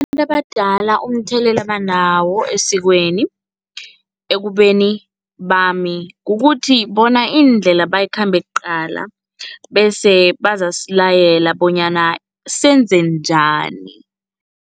Abantu abadala umthelela abanawo esikweni, ekubeni bami, kukuthi bona indlela bayikhambe kuqala bese bazasilayela bonyana senze njani.